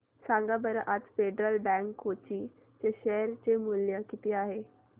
सांगा बरं आज फेडरल बँक कोची चे शेअर चे मूल्य किती आहे